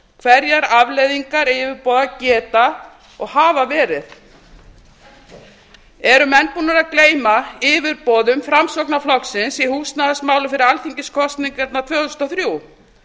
hverjar afleiðingar yfirboða geta og hafa verið eru menn búnir að gleyma yfirboðum framsóknarflokksins í húsnæðismálum fyrir alþingiskosningarnar tvö þúsund og þrjú